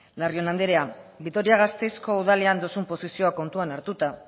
larrion anderea vitoria gasteizko udalean duzun posizioa kontutan hartuta